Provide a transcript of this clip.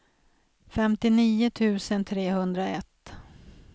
femtionio tusen trehundraett